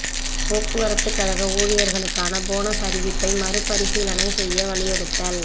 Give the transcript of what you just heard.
போக்குவரத்துக் கழக ஊழியா்களுக்கான போனஸ் அறிவிப்பை மறு பரிசீலனை செய்ய வலியுறுத்தல்